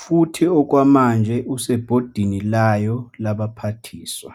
futhi okwamanje useBhodini layo Labaphathiswa.